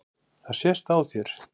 Er það ekki bara málið?